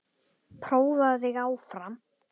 Prófaðu þig áfram!